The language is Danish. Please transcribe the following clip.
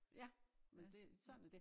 Ja men det sådan er dét